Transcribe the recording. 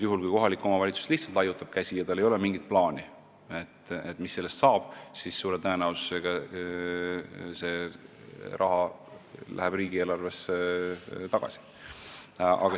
Juhul kui kohalik omavalitsus lihtsalt käsi laiutab ja tal ei ole mingit plaani, mis sellest rahast saab, siis läheb see suure tõenäosusega riigieelarvesse tagasi.